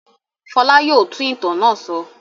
Fọlá yóò tún ìtàn náà sọ.